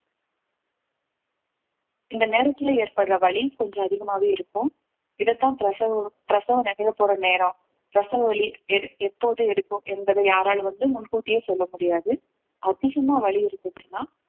இந்த நேரத்துல ஏற்படுற வலி கொஞ்சம் அதிகமாவே இருக்கும் இதைத்தான் பிரசவம் பிரசவம் நிகழப்போற நேரம் பிரசவ வலி எடு~ எப்போது எடுக்கும் என்பதை யாராலும் வந்து முன்கூட்டியே சொல்ல முடியாது அதிகமாக வலி இருந்துச்சுன்னா